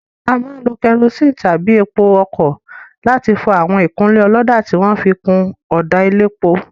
A máa ń lo kerosene tàbí epo ọkọ̀ láti fọ àwọn ìkunlé ọlọ́dà tí wọn fi kun ọ̀dà elépo.